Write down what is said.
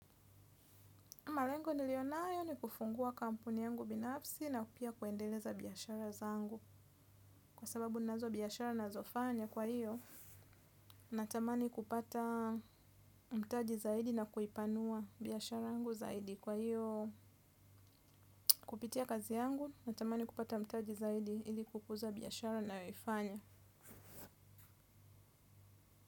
Malengo niliyonayo ni kufungua kampuni yangu binafsi na pia kuendeleza biashara zangu. Kwa sababu nazo biashara na zofanya kwa hiyo, natamani kupata mtaji zaidi na kuipanua biashara yangu zaidi. Kwa hiyo kupitia kazi yangu, natamani kupata mtaji zaidi ili kukuza biashara nayo ifanya.